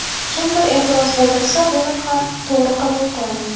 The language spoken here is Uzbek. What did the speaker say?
Kimdir e’tiroz bildirsa buni ham to‘g‘ri qabul qilaman”.